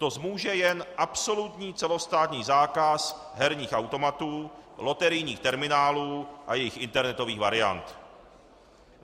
To zmůže jen absolutní celostátní zákaz herních automatů, loterijních terminálů a jejich internetových variant.